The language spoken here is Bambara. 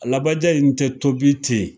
Alabaja in tɛ tobi ten